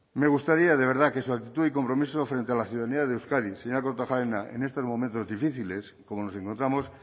me gustaría de verdad que su actitud y compromiso frente a la ciudadanía de euskadi señora kortajarena en estos momentos difíciles como nos encontramos